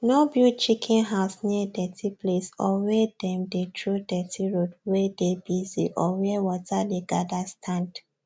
no build chicken house near dirty place or wey them dey throw dirty road wey dey bussy or where water dey gather stand